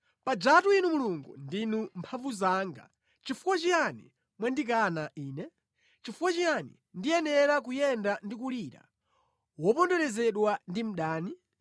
Pajatu Inu Mulungu ndinu mphamvu zanga. Nʼchifukwa chiyani mwandikana ine? Nʼchifukwa chiyani ndiyenera kuyenda ndikulira, woponderezedwa ndi mdani?